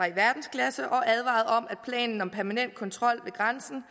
i verdensklasse og advarede om at planen med permanent kontrol ved grænsen